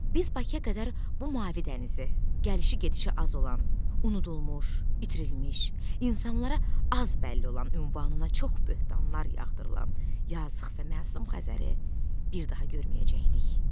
Biz Bakıya qədər bu mavi dənizi, gəlişi-gedişi az olan, unudulmuş, itirilmiş, insanlara az bəlli olan ünvanına çox böhtanlar yağdırılan, yalnız sıx və məsum Xəzəri bir daha görməyəcəkdik.